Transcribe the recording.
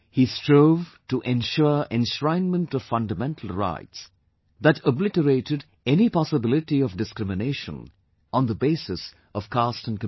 He strove to ensure enshrinement of fundamental rights that obliterated any possibility of discrimination on the basis of caste and community